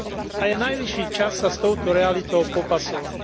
a je najvyšší čas sa s touto realitou popasovať.